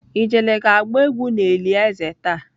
Ijele ga agba egwu n'eli eze taa.